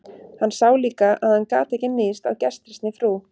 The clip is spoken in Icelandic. Hann sá líka að hann gat ekki níðst á gestrisni frú